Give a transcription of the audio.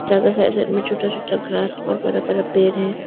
Side side में छोटा छोटा ग्रास और बरा बरा पेर है।